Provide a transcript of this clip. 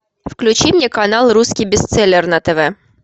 включи мне канал русский бестселлер на тв